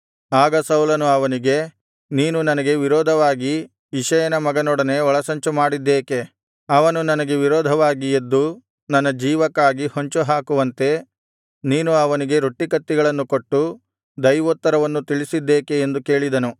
ಆಗ ಸೌಲನು ಅವನಿಗೆ ನೀನು ನನಗೆ ವಿರೋಧವಾಗಿ ಇಷಯನ ಮಗನೊಡನೆ ಒಳಸಂಚುಮಾಡಿದ್ದೇಕೆ ಅವನು ನನಗೆ ವಿರೋಧವಾಗಿ ಎದ್ದು ನನ್ನ ಜೀವಕ್ಕಾಗಿ ಹೊಂಚುಹಾಕುವಂತೆ ನೀನು ಅವನಿಗೆ ರೊಟ್ಟಿಕತ್ತಿಗಳನ್ನು ಕೊಟ್ಟು ದೈವೋತ್ತರವನ್ನು ತಿಳಿಸಿದ್ದೇಕೆ ಎಂದು ಕೇಳಿದನು